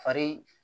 Fari